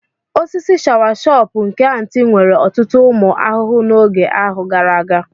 Osisi shawasopu nke Aunty nwere ọtụtụ ụmụ ahụhụ n'oge ahụ gara aga.